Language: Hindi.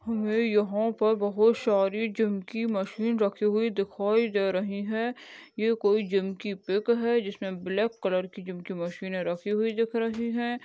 हमे यहाँ पर बहुत सारी जिम की मशीन रखी हुई दिखाई दे रही है ये कोई जिम की पीक है जिसमे ब्लैक कलर की जिम के मशीन रखी हुई दिख रही है।